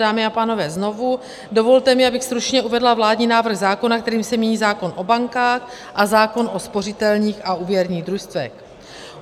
Dámy a pánové, znovu, dovolte mi, abych stručně uvedla vládní návrh zákona, kterým se mění zákon o bankách a zákon o spořitelních a úvěrních družstvech.